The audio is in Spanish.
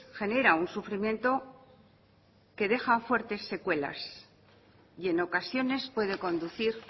genera un sufrimiento que deja fuertes secuelas y en ocasiones puede conducir